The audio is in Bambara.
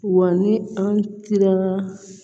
Wa ni an tira